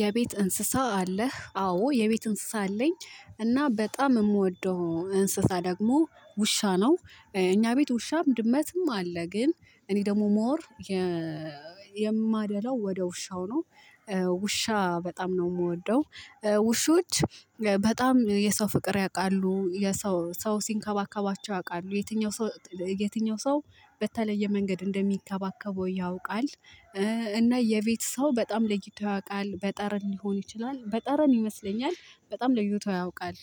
የቤት እንስሳ አለህ? አዎ የቤት እንስሳ አለኝ። እና በጣም የምወደው እንስሳ ደግሞ ውሻ ነው። እኛ ቤት ውሻም ድመትም አለ። ግን እኔ ደግሞ ሞር የማደላው ወደ ውሻው ነው። ውሻ በጣም ነው ምወደው። ውሾች በጣም የሰው ፍቅር ያውቃሉ የሰው ሰው ሲንከባከባቸው ያውቃሉ የትኛው ሰው የትኛው ሰው በተለየ መንገድ እንደሚከባከበው ያውቃል እና የቤት ሰው በጣም ለይቶ ያውቃል። በጠረን ሊሆን ይችላል በጠረን ይመስለኛል በጣም ለይቶ ያውቃል።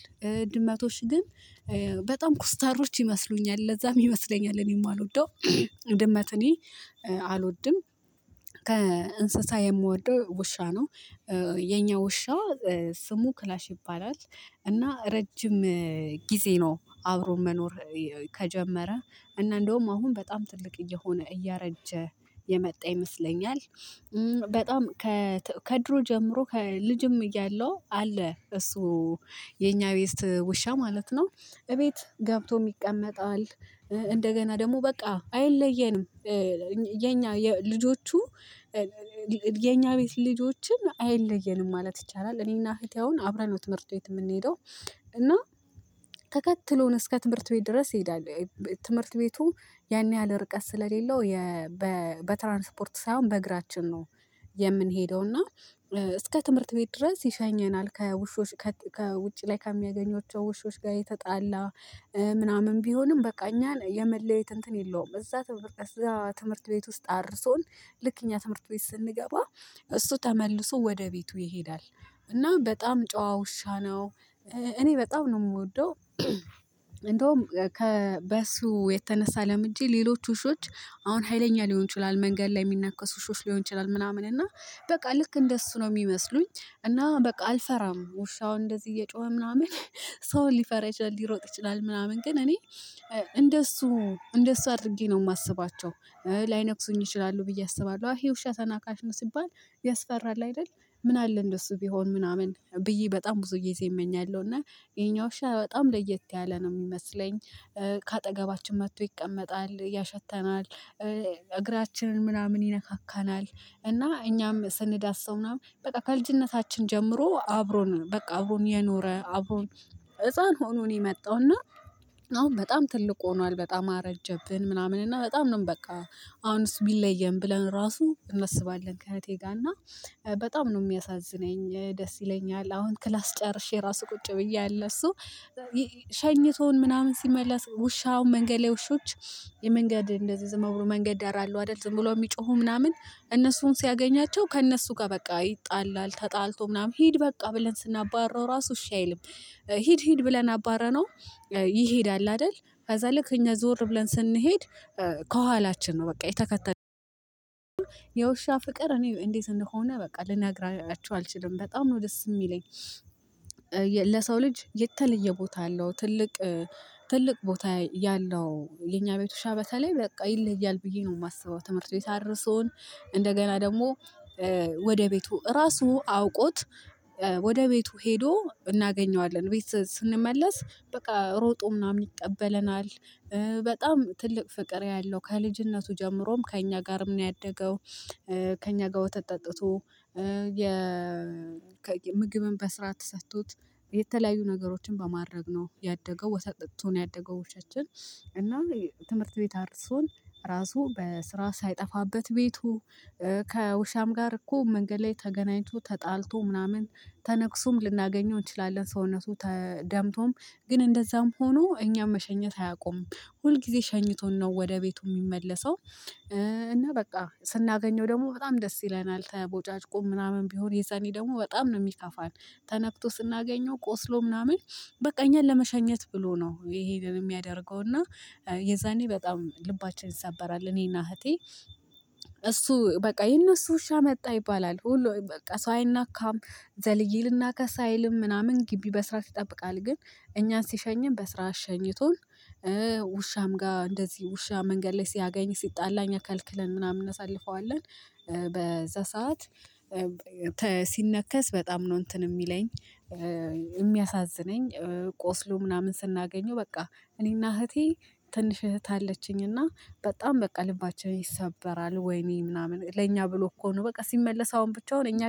ድመቶች ግን በጣም ኮስታሮች ይመስሉኛል ለዛም ይመስለኛል እኔ ማልወደው ድመት እኔ አልወድም። ከእንስሳ የምወደው ውሻ ነው የኛ ውሻ ስሙ ክላሽ ይባላል እና ረጅም ጊዜ ነው አብሮ መኖር ከጀመረ እና እንደውም አሁን በጣም ትልቅ እየሆነ እያረጀ የመጣ ይመስለኛል በጣም ከድሮ ጀምሮ ከልጅም እያለው አለ እሱ የኛ ቤስት ውሻ ማለት ነው እቤት ገብቶም ይቀመጣል እንደገና ደግሞ በቃ አይለየንም የኛ ልጆቹ የኛ ቤት ልጆችን አይለየንም ማለት ይቻላል እኔና እህቴ አሁን አብረን ነው ትምህርት ቤት ምንሄደው እና ተከትሎን እስከ ትምህርት ቤት ድረስ ይሄዳለል ትምህርት ቤቱ ያን ያህል ርቀት ስለሌለው በትራንስፖርት ሳይሆን በእግራችን ነው የምንሄደው እና እስከ ትምህርት ቤት ድረስ ይሸኘናል ከውሾች ከውጪ ላይ ከሚያገኟቸው ውሾች ጋር እየተጣላ ምናምን ቢሆንም በቃ እኛን የመለየት እንትን የለውም እዛ ትምህርት ቤት እዛ ትምህርት ቤት ውስጥ አድርሶን ልክ እኛ ትምህርት ቤት ስንገባ እሱ ተመልሶ ወደ ቤቱ ይሄዳል እና በጣም ጨዋ ውሻ ነው እኔ በጣም ነው ምወደው እንደውም ከበሱ የተነሳ ለምጄ ሌሎች ውሾች አሁን ሀይለኛ ሊሆን ይችላል መንገድ ላይ የሚናከሱ ውሾች ሊሆን ይችላል ምናምን እና በቃ ልክ እንደሱ ነው ሚመስሉኝ እና በቃ አልፈራም ውሻው እንደዚህ እየጮኸ ምናምን ሰው ሊፈራ ይችላል ሊሮጥ ይችላል ምናምን ግን እኔ እንደሱ እንደሱ አድርጌ ነው ማስባቸው። ላይነክሱኝ ይችላሉ ብዬ አስባለሁ ይሄ ውሻ ተናካሽ ነው ሲባል ያስፈራል አይደል ምን አለ እንደሱ ቢሆን ምናምን ብዬ በጣም ብዙ ጊዜ እመኛለሁ እና የኛ ውሻ በጣም ለየት ያለ ነው ሚመስለኝ። ከአጠገባችን መጥቶ ይቀመጣል ያሸተናል እግራችንን ምናምን ይነካካናል እና እኛም ስንዳስሰው ምናምን በቃ ከልጅነታችን ጀምሮ አብሮን በቃ አብሮን የኖረ አብሮን ህፃን ሆኖ ነው የመጣው እና አሁን በጣም ትልቅ ሆኗል በጣም አረጀብን ምናምን እና በጣም ነው በቃ አሁን እሱ ቢለየን ብለን ራሱ እናስባለን ከእህቴ ጋር እና በጣም ነው ሚያሳዝነኝ ደስ ይለኛል አሁን ክላስ ጨርሼ ራሱ ቁጭ ብዬ አለ እሱ ሸኝቶን ምናምን ሲመለስ ውሻ አሁን መንገድ ላይ ውሾች የመንገድ እንደዚህ ዝም ብሎ መንገድ ዳር አሉ አይደል ዝም ብሎ የሚጮሁ ምናምን እነሱን ሲያገኛቸው ከእነሱ ጋር በቃ ይጣላል ተጣልቶ ምናምን ሂድ በቃ ብለን ስናባረው ራሱ እሺ አይልም ሂድ ሂድ ብለን አባረነው ይሄዳል አይደል ከዛ ልክ እኛ ዞር ብለን ስንሄድ ከኋላችን ነው በቃ የተከተ የውሻ ፍቅር እኔ እንዴት እንደሆነ በቃ ልነግራችሁ አልችልም በጣም ነው ደስ ሚለኝ ለሰው ልጅ የተለየ ቦታ አለው ትልቅ ትልቅ ቦታ ያለው የኛ ቤት ውሻ በተለይ በቃ ይለያል ብዬ ነው ማስበው ትምህርት ቤት አድርሶን እንደገና ደግሞ ወደ ቤቱ ራሱ አውቆት ወደ ቤቱ ሄዶ እናገኘዋለን ቤት ስንመለስ በቃ ሮጦ ምናምን ይቀበለናል በጣም ትልቅ ፍቅር ያለው ከልጅነቱ ጀምሮም ከእኛ ጋርም ነው ያደገው ከእኛ ጋር ወተት ጠጥቶ የ ምግብም በስርዓት ተሰጥቶት የተለያዩ ነገሮችን በማድረግ ነው ያደገው ወተት ጠጥቶ ነው ያደገው ውሻችን እና ትምህርት ቤት አድርሶን ራሱ በስርዓት ሳይጠፋበት ቤቱ ከውሻም ጋር እኮ መንገድ ላይ ተገናኝቶ ተጣልቶ ምናምን ተነክሶም ልናገኘው እንችላለን ሰውነቱ ተ ደምቶም ግን እንደዛም ሆኖ እኛም መሸኘት አያቆምም ሁል ጊዜ ሸኝቶን ነው ወደ ቤቱ ሚመለሰው እና በቃ ስናገኘው ደግሞ በጣም ደስ ይለናል ተቦጫጭቆ ምናምን ቢሆን የዛኔ ደግሞ በጣም ነው የሚከፋን ተነክቶ ስናገኘው ቆስሎ ምናምን በቃ እኛን ለመሸኘት ብሎ ነው ይሄንን የሚያደርገው እና የዛኔ በጣም ልባችን ይሰበራል እኔና እህቴ እሱ በቃ የነሱ ውሻ መጣ ይባላል ሁሉ በቃ ሰው አይናካም ዘልዬ ልናከስ አይልም ምናምን ግቢ በስርዓት ይጠብቃል ግን እኛን ሲሸኝም በስርዓት ሸኝቶን ውሻም ጋር እንደዚህ ውሻ መንገድ ላይ ሲያገኝ ሲጣላ ከልክለን ምናምን እናሳልፈዋለን በዛ ሰዓት ሲነከስ በጣም ነው እንትን ሚለኝ ሚያሳዝነኝ ቆስሎ ምናምን ስናገኘው በቃ እኔና እህቴ ትንሽ እህት አለችኝ እና በጣም በቃ ልባችን ይሰበራል። ወይኔ ምናምን ለእኛ ብሎ እኮ ነው በቃ ሲመለስ አሁን ብቻውን እኛ